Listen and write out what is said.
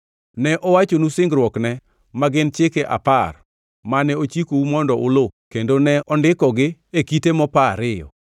Ne owachonu singruokne, ma gin Chike Apar, mane ochikou mondo uluw kendo ne ondikogi e kite mopa ariyo.